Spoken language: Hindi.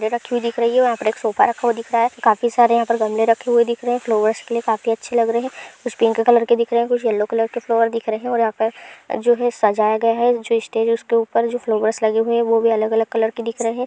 दिख रही है| यहां पर एक सोफा रखा हुआ दिख रहा है काफी सारे यहां पर गमले रखे हुए दिख रहे हैं फ्लावर्स के लिए काफी ज्यादा अच्छे लग रहे हैं| कुछ पिंक कलर के दिख रहे हैं कुछ येल्लो कलर के फ्लोवर दिख रहे हैं और यहां पे जो भी सजाए गया है| जो स्टेज है उसके ऊपर जो फ्लोवर्स लगे हुए हैं वो भी अलग-अलग कलर के दिख रहे हैं।